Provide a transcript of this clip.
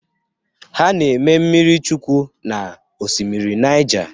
Ha na-eme mmiri chukwụ na osimiri Naija.